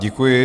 Děkuji.